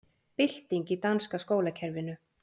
Bylting í danska skólakerfinu